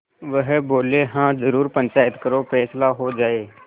वह बोलेहाँ जरूर पंचायत करो फैसला हो जाय